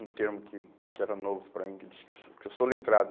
Um termo que que era novo para mim, que disse que sou, que eu sou letrado.